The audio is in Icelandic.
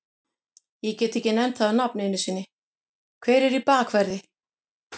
Ég get ekki nefnt það á nafn einu sinni, hver er í bakverði?